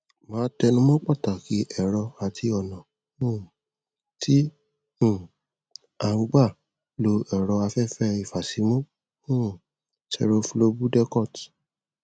màá tẹnu mọ pàtàkì ẹrọ àti ọnà um tí um à ń gbà lo ẹrọ afẹfẹ ìfàsímú um seroflowbudecort